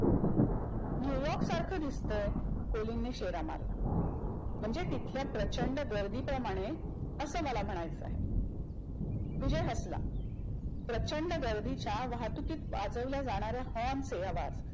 New York सारख दिसतंय. कोलिनने शेरा मारला म्हणजे तिथल्या प्रचंड गर्दीप्रमाणे अस मला म्हणायचंय, विजय हसला. प्रचंड गर्दीच्या वाहतुकीत वाजवल्या जाणाऱ्या horn चे आवाज.